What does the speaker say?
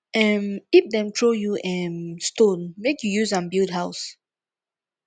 um if dem throw you um stone make you use am build house